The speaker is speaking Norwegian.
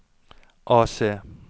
AC